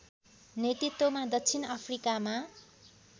नेतृत्वमा दक्षिण अफ्रिकामा